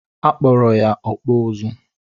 A kpọrọ ya "ọkpụ ụzụ́"